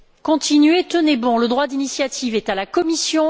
Continuez, tenez bon! Le droit d'initiative est à la Commission.